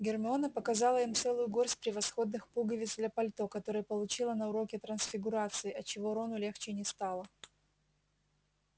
гермиона показала им целую горсть превосходных пуговиц для пальто которые получила на уроке трансфигурации отчего рону легче не стало